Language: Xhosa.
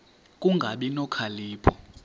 ku kungabi nokhalipho